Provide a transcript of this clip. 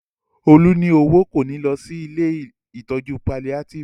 Olú ní owó, kò ní lọ sí ilée ìtọ́jú paliátìfù